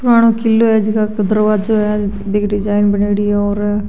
पुराणों किलो है जका दरवाजो है बिक डिजाइन बनेड़ी है और --